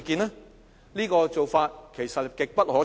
這種做法其實極不可取。